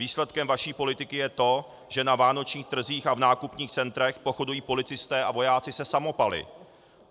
Výsledkem vaší politiky je to, že na vánočních trzích a v nákupních centrech pochodují policisté a vojáci se samopaly.